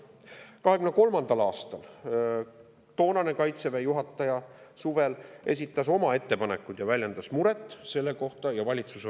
2023. aasta suvel esitas toonane Kaitseväe juhataja oma ettepanekud ja väljendas muret selle pärast.